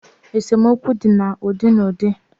Esomokwu di na udi na udi